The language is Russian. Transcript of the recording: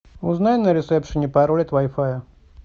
узнай на ресепшене пароль от вай фая